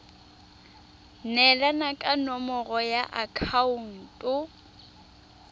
neelana ka nomoro ya akhaonto